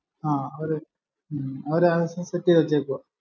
ആഹ് ഒരു ഉം set ചെയ്ത് വച്ചേക്കുവാ